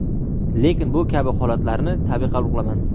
Lekin bu kabi holatlarni tabiiy qabul qilaman.